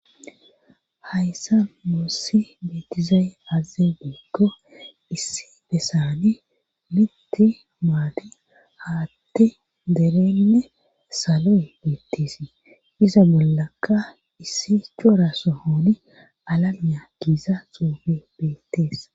Hayssan boossi beetizayi azaze geikko issi besani mitti maati haatti derenne salo beettisii iza bollaka issi cora sohoni alamya giiza xoofebetees.